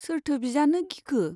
सोरथो बिजानो गिखो ?